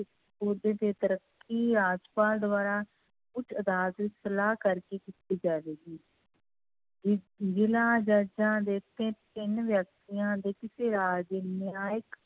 ਰਾਜਪਾਲ ਦੁਆਰਾ ਉੱਚ ਅਦਾਲਤ ਵਿੱਚ ਸਲਾਹ ਕਰਕੇ ਕੀਤੀ ਜਾਵੇਗੀ ਜ਼ਿਲ੍ਹਾ ਜੱਜਾਂ ਦੇ ਤਿ ਤਿੰਨ ਵਿਅਕਤੀਆਂ ਦੇ ਕਿਸੇ ਰਾਜ ਦੇ ਨਿਆਂਇਕ